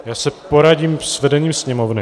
Já se poradím s vedením Sněmovny.